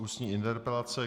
Ústní interpelace